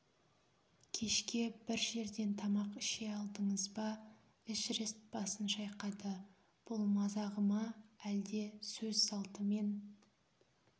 кешке бір жерден тамақ іше алдыңыз ба эшерест басын шайқады бұл мазағы ма әлде сөз салтымен